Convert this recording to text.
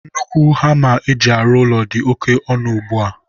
nnukwu hama eji arụ ụlọ dị oke ọnụ ugbua.